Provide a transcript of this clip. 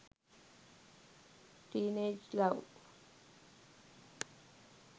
teenage love